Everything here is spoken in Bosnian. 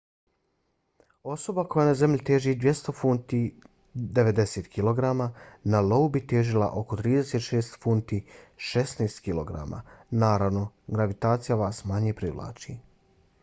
osoba koja na zemlji teži 200 funti 90kg na iou bi težila oko 36 funti 16kg. naravno gravitacija vas manje privlači